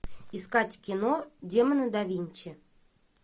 искать кино демоны да винчи